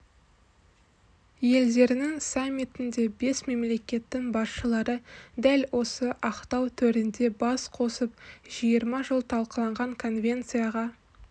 елдерінің саммитінде бес мемлекеттің басшылары дәл осы ақтау төрінде бас қосып жиырма жыл талқыланған конвенцияға